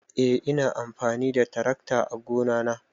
Eh ina amfani da tarakta ã gona na.